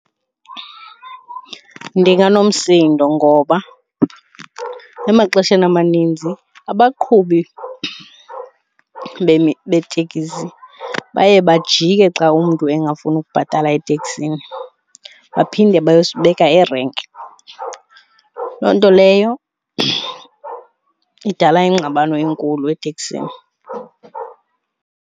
Ndinganomsindo ngoba emaxesheni amaninzi abaqhubi beetekisi baye bajike xa mntu engafuni ukubhatala eteksini baphinde bayosibeka erenki. Loo nto leyo idala ingxabano enkulu eteksini.